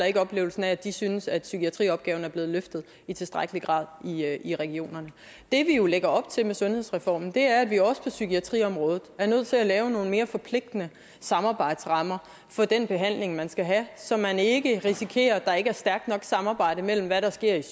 ikke oplevelsen af at de synes at psykiatriopgaven er blevet løftet i tilstrækkelig grad i regionerne det vi jo lægger op til med sundhedsreformen er at vi også på psykiatriområdet er nødt til at lave nogle mere forpligtende samarbejdsrammer for den behandling man skal have så man ikke risikerer at der ikke er stærkt nok samarbejde mellem hvad der sker